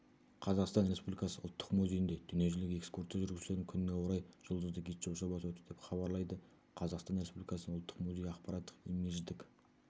қазақстан республикасы ұлттық музейінде дүниежүзілік экскурсия жүргізушілердің күніне орай жұлдызды гид шоу-жобасы өтті деп хабарлайды қазақстан республикасының ұлттық музейі ақпараттық-имидждік